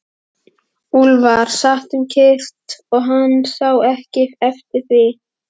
Úlfar sat um kyrrt og hann sá ekki eftir því.